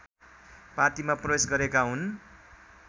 पार्टीमा प्रवेश गरेका हुन्